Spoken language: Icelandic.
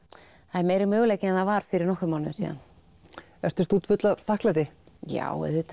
er meiri möguleiki en það var fyrir nokkrum mánuðum síðar ertu stútfull af þakklæti já auðvitað